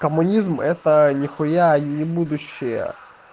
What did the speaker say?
коммунизм это нихуя ни будущее